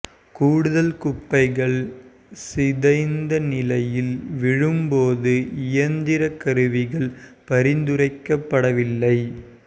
கூடுதல் குப்பைகள் சிதைந்த நிலையில் விழும் போது இயந்திர கருவிகள் பரிந்துரைக்கப்படவில்லை